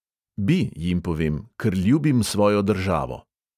Bi, jim povem, ker ljubim svojo državo.